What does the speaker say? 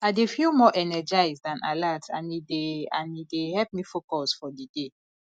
i dey feel more energized and alert and e dey and e dey help me focus for di day